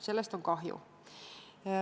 Sellest on kahju.